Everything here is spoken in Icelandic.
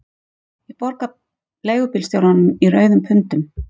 Ég borga leigubílstjóranum í rauðum pundum